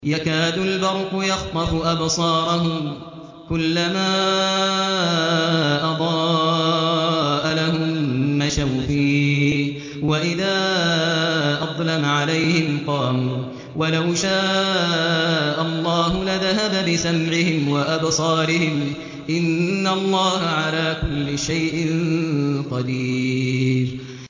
يَكَادُ الْبَرْقُ يَخْطَفُ أَبْصَارَهُمْ ۖ كُلَّمَا أَضَاءَ لَهُم مَّشَوْا فِيهِ وَإِذَا أَظْلَمَ عَلَيْهِمْ قَامُوا ۚ وَلَوْ شَاءَ اللَّهُ لَذَهَبَ بِسَمْعِهِمْ وَأَبْصَارِهِمْ ۚ إِنَّ اللَّهَ عَلَىٰ كُلِّ شَيْءٍ قَدِيرٌ